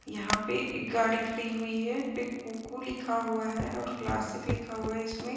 यहाँ पे एक गाड़ी खड़ी हुई है एक कूकू लिखा हुआ है और क्लासिक लिखा हुआ है इसमें।